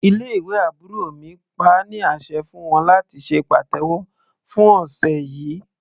Ilé ìwé àbúrò mi pa á ní àṣẹ fún wọn láti ṣe pàtẹ́wọ́ fún ọ̀sẹ̀ yìí.